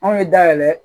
Anw ye dayɛlɛ